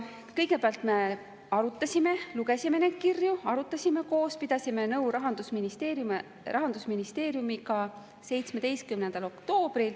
Kõigepealt me siis lugesime 17. oktoobril neid kirju, arutasime koos ja pidasime nõu Rahandusministeeriumiga.